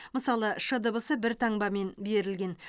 мысалы ш дыбысы бір таңбамен берілген